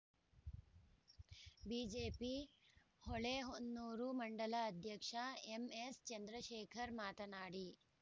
BJP Holehonnur ಮಂಡಲ ಅಧ್ಯಕ್ಷ M S Chandrashekhar ಮಾತನಾಡಿ